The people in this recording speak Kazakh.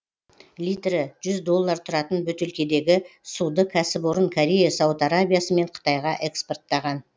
литрі жүз доллар тұратын бөтелкедегі суды кәсіпорын корея сауд арабиясы мен қытайға экспорттаған